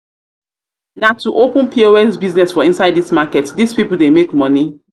to open pos business for inside this market this people dey make money